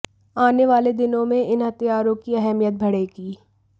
आने वाले दिनों में इन हथियारों की अहमियत बढ़ेगी